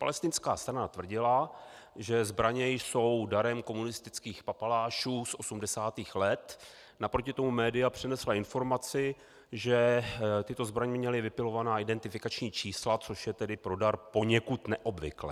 Palestinská strana tvrdila, že zbraně jsou darem komunistických papalášů z 80. let, naproti tomu média přinesla informaci, že tyto zbraně měly vypilovaná identifikační čísla, což je tedy pro dar poněkud neobvyklé.